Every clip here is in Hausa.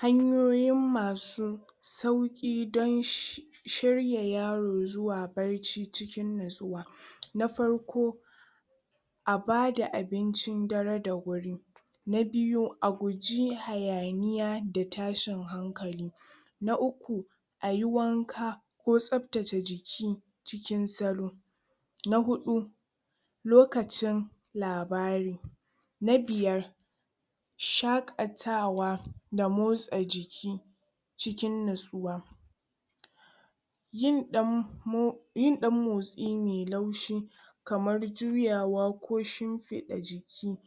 Hanyoyin masu sauki masu sauki don sh shirya yzro zuwa barci cikin natsuwa na farko a bada abincin dare da wuri na biyu a guji hayaniya da tashinb hankali na uku ayi wanka ko tsaftace jiki cikin salo na hudu lokacin labari na biyar shakatawa da motsa jiki cikin natsuwa yin dan mo yin dan motsi mai laushi kamar juywa ko shimfida jiki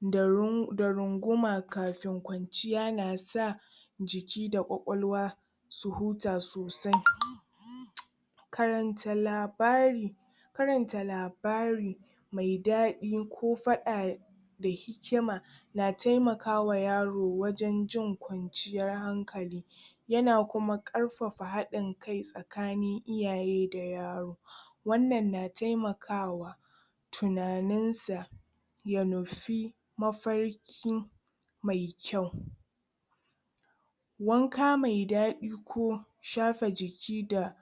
da rung da runguma kafin kwanciya na sa jiki da kwakwalwa su huta sosai um karanta labari karanta labari mai dadi ko fada da hikima na temaka yaro wajen jin kwanciyar hankali yana kuma karfafa hadin kai tsakanin iyaye da yaro wannan na temakawa tunaninsa ya natsu mafarki mai kyau kwanka me dadi ko shafe jiki da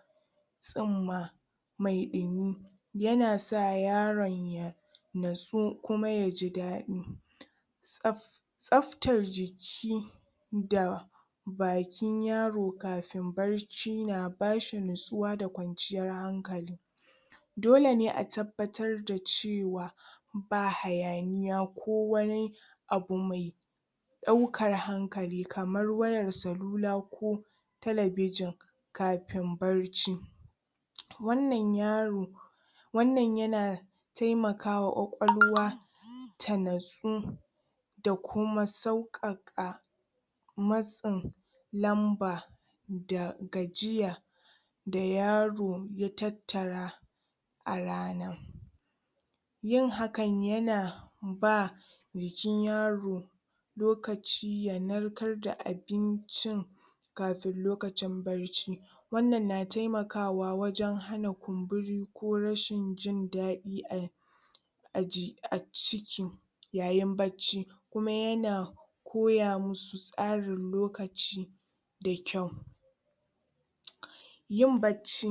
tsinma me dimi yanasa yaron ya natsu kuma yaji dadi tsaf tsaftar jiki da bakin yaro kafin barci na ba bashi natsuwa da kwanciyar hankali dole ne a tabbatar da cewa ba hayaniya ko wani abu mai daukar hankali kamar wayan celula ko talabijin kafin barci um wannan yaro wannan yana temakawa kwakwalwa ta natsu dakuma saukaka matsin lamba da gajiya da yaro ya tattara a rana yin hakan yana ba jikin yaro lokaci ya narkar da abincin kafin lokacin barci wannan na temakawa wajen hana kumnuri ko rashin jin dadi a a jik a ciki yayin barci kuma yana koya madu tsarin lokaci da kyau um yin barci